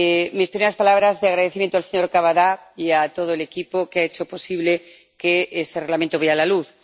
Mis primeras palabras, de agradecimiento al señor Cavada y a todo el equipo que ha hecho posible que este Reglamento vea la luz.